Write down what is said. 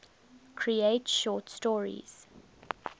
create short stories